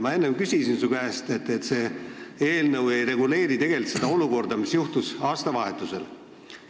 Ma enne küsisin su käest selle kohta, et see eelnõu ei reguleeri tegelikult seda olukorda, mis juhtus aastavahetusel.